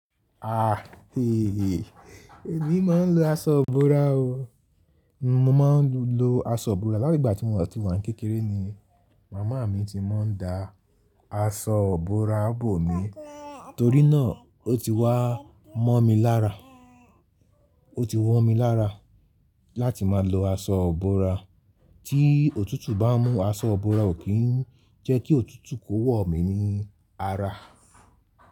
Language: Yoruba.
Àh eh, èmi máa ń lo aṣọ ìbora o. Mo máa ń lo aṣọ ìbora. Láti ìgbà tí mo ti wà ní kékeré ni màmá mi ti máa ń dá aṣọ ìbora bò mi. Torí náà o ti wá mọ̀ mí lára. O ti wọ̀ mí lára láti máa lo aṣọ ìbora. Tí òtútù bá mú aṣọ ìbora ó kín ń jẹ́kí òtútù kó wọ̀ mí ní ara.